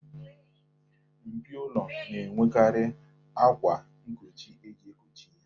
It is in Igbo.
Mpio ụlọ na-enwekarị akwa nkochi eji ekochi ya.